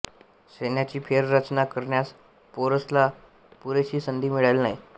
सैन्याची फेररचना करण्यास पोरसाला पुरेशी संधी मिळाली नाही